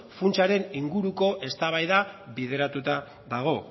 funtsaren inguruko eztabaida bideratuta dago